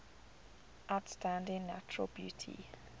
outstanding natural beauty